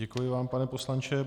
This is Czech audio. Děkuji vám, pane poslanče.